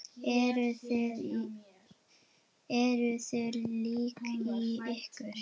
Eruð þið lík í ykkur?